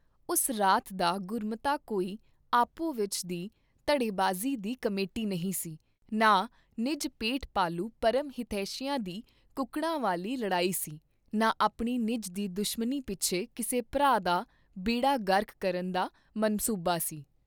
ਉਸ ਰਾਤ ਦਾ ਗੁਰਮਤਾ ਕੋਈ ਆਪੋ ਵਿਚ ਦੀ ਧੜੇਬਾਜ਼ੀ ਦੀ ਕਮੇਟੀ ਨਹੀਂ ਸੀ, ਨਾ ਨਿਜ ਪੇਟ ਪਾਲੂ ਪਰਮ ਹਿਤੈਸ਼ੀਆਂ ਦੀ ਕੁਕੜਾਂ ਵਾਲੀ ਲੜਾਈ ਸੀ, ਨਾ ਆਪਣੀ ਨਿੱਜ ਦੀ ਦੁਸ਼ਮਨੀ ਪਿੱਛੇ ਕਿਸੇ ਭਰਾ ਦਾ ਬੇੜਾ ਗਰਕ ਕਰਨ ਦਾ ਮਨਸੂਬਾ ਸੀ।